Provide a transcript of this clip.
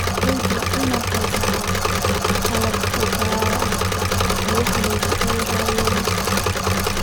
Beeralayda waa inay haystaan ??qalab gaar ah oo wax lagu eegayo.